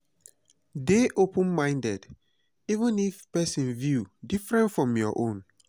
dey open-minded even if person view different from your own.